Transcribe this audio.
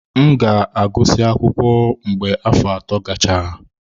M ga-agụsị akwụkwọ mgbe afọ ato gachara.